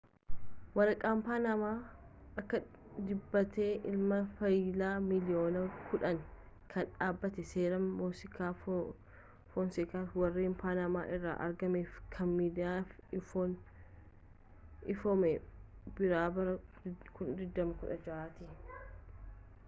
waraqaan panama akka dibabeeti ilalama faayilaa miiliyoonaa kudhan kan dhaabbata seeraa mosaak fonsekaaa warreen panama irraa argamaniif kan miidiyaaf ifoome birraa bara 2016 ti